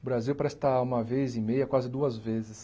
O Brasil presta uma vez e meia, quase duas vezes,